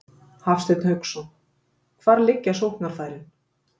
Hafsteinn Hauksson: Hvar liggja sóknarfærin?